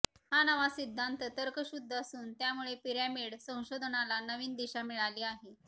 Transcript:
हा नवा सिद्धांत तर्कशुद्ध असून त्यामुळे पिरॅमिड संशोधनाला नवीन दिशा मिळाली आहे